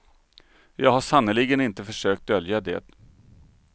Jag har sannerligen inte försökt dölja det.